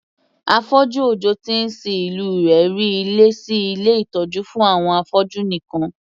Afọ́jú ọ̀dọ́ tí ń sin ìlú rí ilé sí ilé ìtọ́jú fún àwọn afọ́jú nìkan